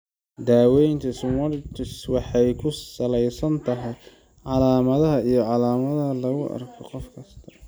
Daaweynta schwannomatosis waxay ku salaysan tahay calaamadaha iyo calaamadaha lagu arko qof kasta.